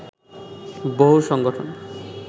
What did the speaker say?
বহু সংগঠন